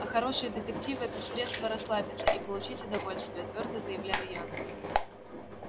а хорошие детективы это средство расслабиться и получить удовольствие твёрдо заявляю я